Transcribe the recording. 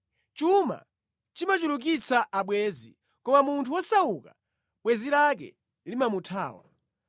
Chuma chimachulukitsa abwenzi; koma munthu wosauka bwenzi lake limamuthawa.